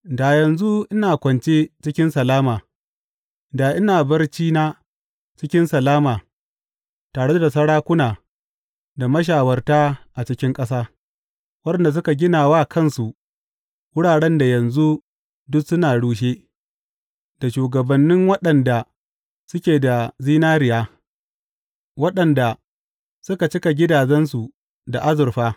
Da yanzu ina kwance cikin salama; da ina barcina cikin salama tare da sarakuna da mashawarta a cikin ƙasa, waɗanda suka gina wa kansu wuraren da yanzu duk sun rushe, da shugabanni waɗanda suke da zinariya, waɗanda suka cika gidajensu da azurfa.